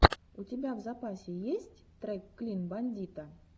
у тебя в запасе есть трек клин бандита